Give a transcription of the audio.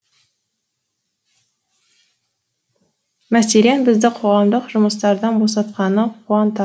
мәселен бізді қоғамдық жұмыстардан босатқаны қуантады